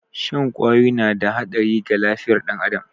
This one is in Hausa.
Shan kwawoyi na da haɗari ga lafiyar ɗan adam